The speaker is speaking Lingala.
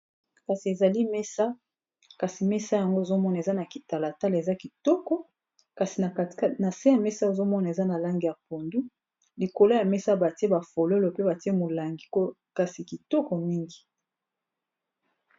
Kasi ezali mesa kasi mesa yango ozomona eza na kitalatala eza kitoko na se ya mesa ozomona eza na langi ya pondu likolo ya mesa batie ba fololo pe batie molangi kasi kitoko mingi.